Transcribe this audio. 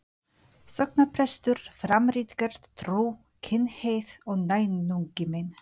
sóknarprestur, fram ritgerð, Trú, kynhneigð og náungi minn.